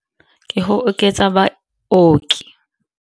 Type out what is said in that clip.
Ke go oketsa baoki.